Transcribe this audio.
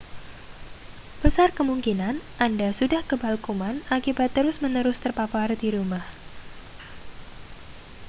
besar kemungkinan anda sudah kebal kuman akibat terus-menerus terpapar di rumah